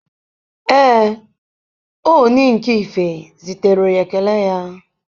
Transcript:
Ee, Oni nke Ife zitere ekele ya